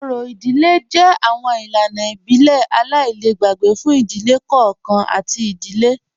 Ọ̀rì ìdílẹ̀ jẹ́ awọn ilànà ìbílẹ̀ aláìlẹ̀gbẹ̀ fún ìdílẹ̀ kọọ̀kan àti ìdílẹ̀